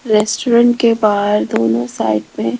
restaurant के बाहर दोनो साइड मे--